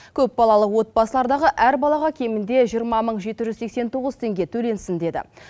көпбалалы отбасылардағы әр балаға кемінде жиырма мың жеті жүз сексен тоғыз теңге төленсін деді